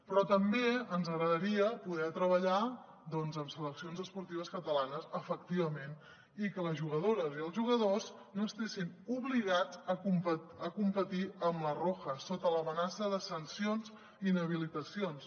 però també ens agradaria poder treballar doncs amb seleccions esportives catalanes efectivament i que les jugadores i els jugadors no estiguessin obligats a competir amb la roja sota l’amenaça de sancions i inhabilitacions